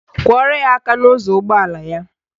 Kụọrọ ya aka n'ụzọ ụgbọala ya.